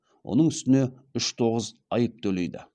оның үстіне үш тоғыз айып төлейді